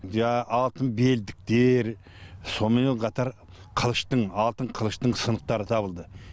жаңағы алтын белдіктер соныменен қатар қылыштың алтын қылыштың сынықтары табылды